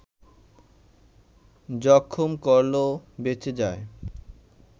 জখম করলেও বেঁচে যায়